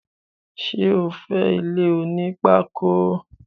Sé o fé ilé oní pákó?